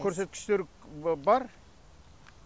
көрсеткіштер бар